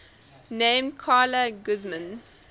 named carla guzman